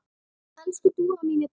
Elsku Dúra mín er dáin.